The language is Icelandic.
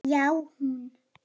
Já, hún!